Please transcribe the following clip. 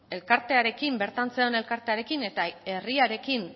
elkartearekin bertan zegoen elkartearekin eta herriarekin